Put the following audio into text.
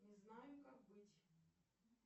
не знаю как быть